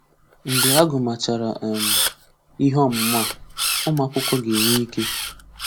Mgbe agụ̀màchàrà um ihe ọmụ̀mụ̀ a, ụmụ́akwụ̀kwọ ga-enwe ike.